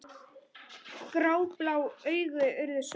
Gráblá augun urðu svört.